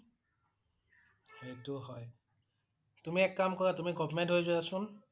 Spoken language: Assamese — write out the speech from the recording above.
সেইটোও হয়। তুমি এক কাম কৰা তুমি government হৈ যোৱা চোন